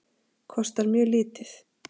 Kostar mjög lítið.